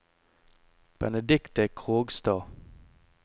Benedikte Krogstad